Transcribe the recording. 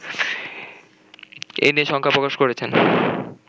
এ নিয়ে শঙ্কা প্রকাশ করেছেন